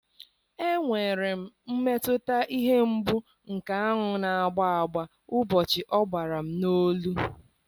Enwere m mmetụta ihe mgbu nke aṅụ na-agba agba ụbọchị ọ gbara m n'olu.